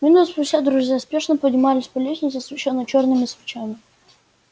минуту спустя друзья спешно поднимались по лестнице освещённой чёрными свечами